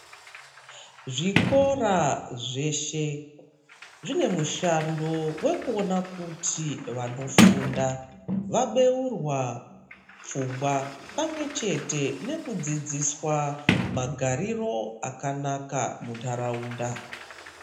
Zvikora zveshe zvine mushando wekuona kuti vanofunda vabeurwa pfungwa pamwe chete nekudzidziswa magariro akanaka mundaraunda.